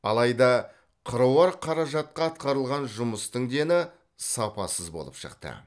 алайда қыруар қаражатқа атқарылған жұмыстың дені сапасыз болып шықты